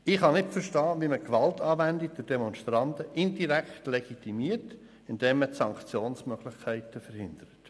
Ich kann nicht verstehen, wie man Gewalt anwendende Demonstranten indirekt legitimiert, indem man Sanktionsmöglichkeiten verhindert.